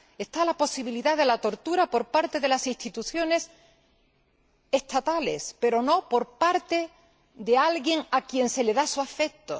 Está la posibilidad de la tortura por parte de las instituciones estatales, pero no por parte de alguien a quien se le da afecto.